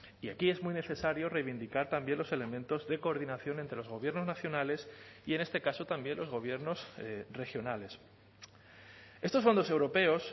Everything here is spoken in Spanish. y aquí es muy necesario reivindicar también los elementos de coordinación entre los gobiernos nacionales y en este caso también los gobiernos regionales estos fondos europeos